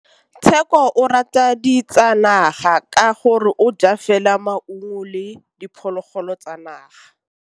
Tshekô o rata ditsanaga ka gore o ja fela maungo le diphologolo tsa naga.